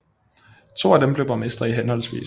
To af dem blev borgmestre i hhv